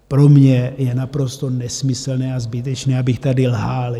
Pro mě je naprosto nesmyslné a zbytečné, abych tady lhal.